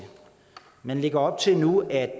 man lægger op til nu at